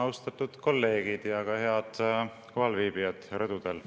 Austatud kolleegid ja head kohalviibijad rõdudel!